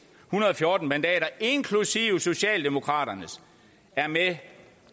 hundrede og fjorten mandater inklusive socialdemokraternes er med